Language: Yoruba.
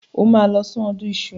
O máa lọ sí ọdún iṣu.